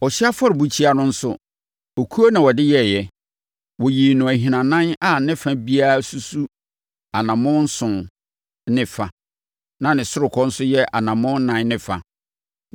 Ɔhyeɛ afɔrebukyia no nso, okuo na wɔde yɛeɛ. Wɔyii no ahinanan a ne fa biara susu anammɔn nson ne fa na ne ɔsorokɔ nso yɛ anammɔn ɛnan ne fa.